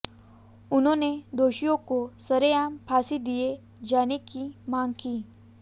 उन्होंने दोषियों को सरेआम फांसी दिये जाने की मांग की